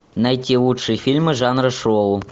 найти лучшие фильмы жанра шоу